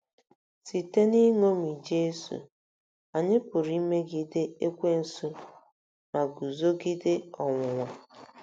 Site n'iṅomi Jesu, anyị pụrụ imegide Ekwensu ma guzogide ọnwụnwa.